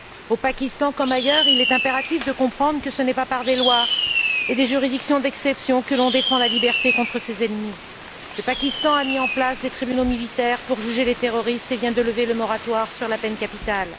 Au Pakistan, comme ailleurs, il est impératif de comprendre que ce n'est pas par des lois et des juridictions d'exception que l'on défend la liberté contre ses ennemis. Le Pakistan a mis en place des tribunaux militaires pour juger les terroristes et vient de lever le moratoire sur la peine capitale.